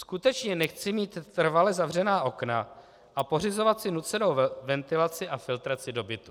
Skutečně nechci mít trvale zavřená okna a pořizovat si nucenou ventilaci a filtraci do bytu."